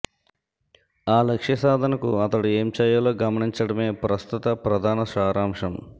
ఆ లక్ష్య సాధనకు అతడు ఏం చేయాలో గమనించడమే ప్రస్తుత ప్రధాన సారాంశం